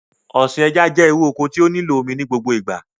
Ọ̀sìn ẹja jẹ́ irú oko tí ó nílò omi ní gbogbo ìgbà